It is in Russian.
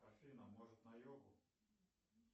афина может на йогу